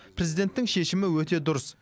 президенттің шешімі өте дұрыс